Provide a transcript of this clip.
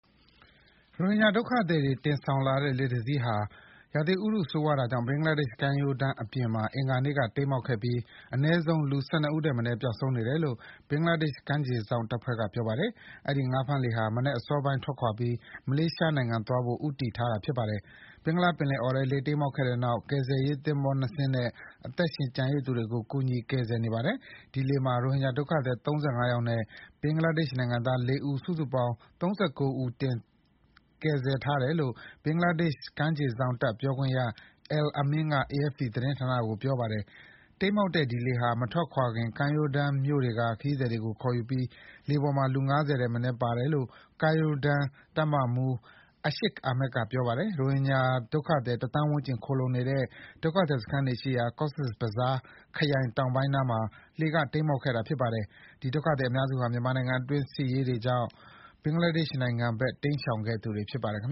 ရိုဟင်ဂျာဒုက္ခသည်တွေ တင်ဆောင်လာတဲ့လှေတစင်းဟာ ရာသီဥတုဆိုးဝါးတာကြောင့် ဘင်္ဂလားဒေ့ရှ်ကမ်းရိုတန်းအပြင်မှာ အင်္ဂါနေ့က တိမ်းမှောက်ခဲ့ပြီး အနည်းဆုံးလူ ၁၂ ဦးထက်မနည်း ပျောက်ဆုံးနေတယ်လို့ ဘင်္ဂလားဒေ့ရှ် ကမ်းခြေစောင့်တပ်ဖွဲ့က ပြောပါတယ်။ အဲဒီ ငါးဖမ်းလှေဟာ မနက်စောပိုင်းထွက်ခွာပြီး မလေးရှားနိုင်ငံသွားဖို့ ဦးတည် ထားတာပါ။ ဘင်္ဂလားပင်လယ်အော်ထဲ လှေတိမ်းမှောက်ခဲ့တဲ့နောက် ကယ်ဆယ်ရေးသင်္ဘော၂ စင်းနဲ့ အသက်ရှင်ကျန်ရစ်သူတွေကို ကူညီကယ်ဆယ်နေပါတယ်။ ဒီလှေမှာ ရိုဟင်ဂျာဒုက္ခသည် ၃၅ ယောက်နဲ့ ဘင်္ဂလာဒေ့ရှ်နိုင်ငံသား ၄ ဦး စုစုပေါင်း ၃၉ ဦး ကယ်ဆယ်ထားတယ် လို့ ဘင်္ဂလားဒေ့ရှ် ကမ်းခြေစောင့်တပ် ပြောခွင့်ရ Al Amin က AFP သတင်းဌာနကို ပြောပါတယ်။ တိမ်းမှောက်တဲ့ ဒီလှေဟာ မထွက်ခွာခင်မှာ ကမ်းရိုးတန်းမြို့တွေက ခရီးသည်တွေကို ခေါ်ယူခဲ့ပြီး လှေပေါ်မှာ လူ ၅၀ ထက်မနည်းပါတယ်လို့ ကမ်းရိုးတန်းတပ် တပ်မှူး Ashiq Ahmed က ပြောပါတယ်။ ရိုဟင်ဂျာဒုက္ခသည် တသန်းဝန်းကျင် ခိုလှုံနေတဲ့ ဒုက္ခသည်စခန်းတွေရှိရာ Cox's Bazar ခရိုင် တောင်ပိုင်းနားမှာ လှေက တိမ်းမှောက်ခဲ့တာပါ။ ဒီ ဒုက္ခသည်အများစုဟာ မြန်မာနိုင်ငံတွင်း စစ်ဆင်ရေးတွေကြောင့် ဘင်္ဂလားဒေ့ရှ်နိုင်ငံဘက် တိမ်းရှောင်ခဲ့သူတွေဖြစ်ပါတယ်။ ဘင်္